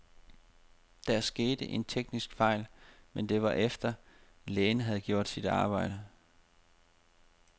Der skete en teknisk fejl, men det var efter, lægen havde gjort sit arbejde.